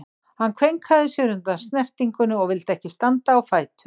Hann kveinkaði sér undan snertingunni og vildi ekki standa á fætur.